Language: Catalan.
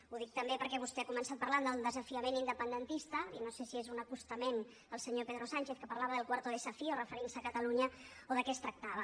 ho dic també perquè vostè ha començat parlant del desafiament independentista i no sé si és un acostament al senyor pedro sánchez que parlava del cuarto desafío referint se a catalunya o de què es tractava